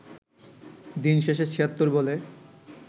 দিনশেষে ৭৬ বলে